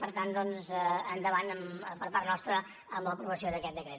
per tant endavant per part nostra amb l’aprovació d’aquest decret